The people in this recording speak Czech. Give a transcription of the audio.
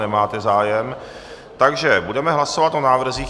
Nemáte zájem, takže budeme hlasovat o návrzích.